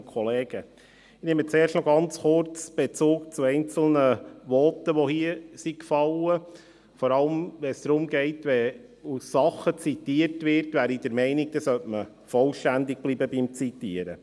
Ich nehme zuerst noch ganz kurz Bezug zu einzelnen Voten, die hier gefallen sind, vor allem wenn es darum geht, dass zitiert werden, bin ich der Meinung, dass man beim Zitieren vollständig bleiben sollte.